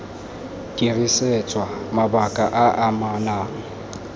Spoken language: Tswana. dirisetswa mabaka a a amanang